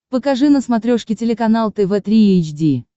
покажи на смотрешке телеканал тв три эйч ди